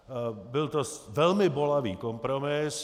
Byl to velmi bolavý kompromis.